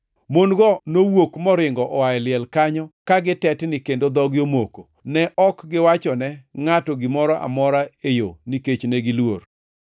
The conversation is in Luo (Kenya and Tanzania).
Mon-go nowuok moringo oa e liel kanyo ka gitetni kendo dhogi omoko, ne ok giwachone ngʼato gimoro amora e yo nikech negiluor. [ 9 Kane Yesu ochier kogwen, chiengʼ mokwongo mar juma, nofwenyore mokwongo ne Maria ma aa Magdala, mane ogolo jochiende abiriyo kuome.